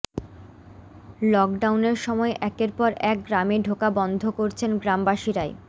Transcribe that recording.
লকডাউনের সময় একের পর এক গ্রামে ঢোকা বন্ধ করছেন গ্রামবাসীরাই